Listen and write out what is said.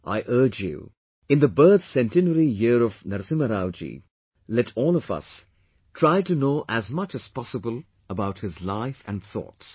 I urge you in the birth centenary year of Narasimha Rao ji, let all of us, try to know as much as possible about his life and thoughts